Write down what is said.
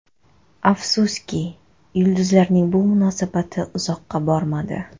Afsuski, yulduzlarning bu munosabati uzoqqa bormadi.